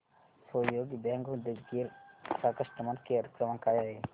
सहयोग बँक उदगीर चा customer care क्रमांक काय आहे